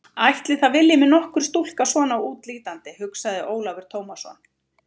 Ætli það vilji mig nokkur stúlka svona útlítandi, hugsaði Ólafur Tómasson.